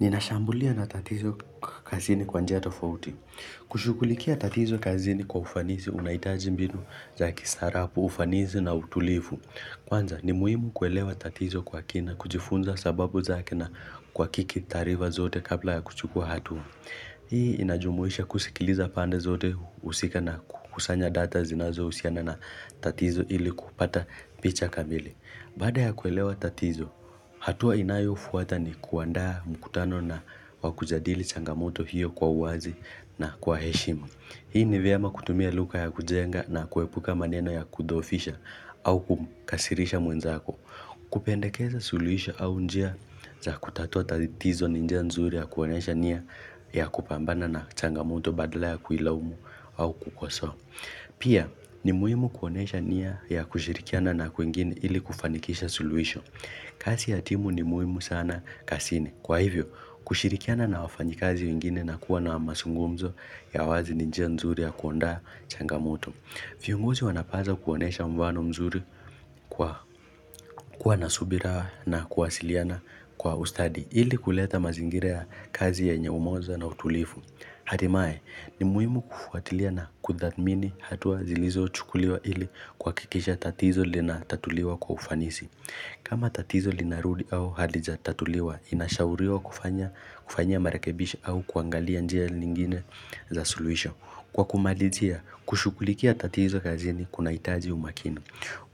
Ninashambulia na tatizo kazini kwa njia tofauti. Kushukulikia tatizo kazini kwa ufanisi unaitaji mbinu za kisarabu, ufanizi na utulifu. Kwanza ni muhimu kuelewa tatizo kwa kina, kujifunza sababu zake na kwa kiki tarifa zote kabla ya kuchukua hatua. Hii inajumuisha kusikiliza pande zote husika na kusanya data zinazo usiana na tatizo ili kupata picha kamili. Kutatua tatizo hatua inayofata ni kuandaa mkutano wa kujadili changamoto hiyo kwa uwazi na kwa heshima Hii ni vyema kutumia luka ya kujenga na kuepuka maneno ya kudhofisha au kumkasirisha mwenzako. Kupendekeza suluhisha au njia za kutatua tazitizo ni njia nzuri ya kuonesha nia ya kupambana na changamoto badala ya kuila umu au kukosoa. Pia ni muhimu kuonesha nia ya kushirikiana na kuingini ili kufanikisha suluhisho. Kasi ya timu ni muhimu sana kasini. Kwa hivyo, kushirikiana na wafanyakazi uingine na kuwa na masungumzo ya wazi ninjia nzuri ya kuondaa changamoto. Fiongozi wanapaza kuonesha mfano mzuri kwa nasubira na kuwasiliana kwa ustadi ili kuleta mazingirea kazi ya nye umoza na utulifu. Hatimae, ni muimu kufuatilia na kudhamini hatua zilizo chukuliwa ili kwa kikisha tatizo lina tatuliwa kwa ufanisi. Kama tatizo linarudi au halija tatuliwa, inashauriwa kufanya marekebisho au kuangalia njia lingine za solution. Kwa kumalizia, kushukulikia tatizo kazini kuna itaji umakini.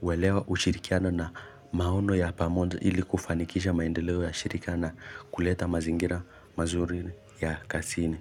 Welewa ushirikiano na maono ya pamoja ili kufanikisha maendeleo ya shirika na kuleta mazingira mazuri ya kasini.